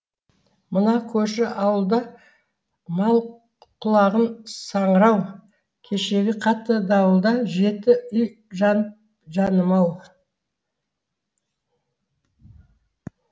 мына көрші ауылда мал құлағы саңырау кешегі қатты дауылда жеті үй жанып жаным ау